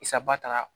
Saba taara